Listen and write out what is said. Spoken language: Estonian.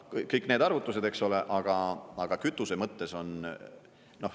Kõik need arvutused, eks ole, aga kütuse mõttes on …